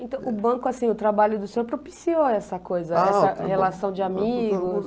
Então o banco, assim, o trabalho do senhor propiciou essa coisa, essa relação de amigos?